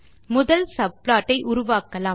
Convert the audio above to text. முதல் சப்ளாட் ஐ உருவாக்கலாம்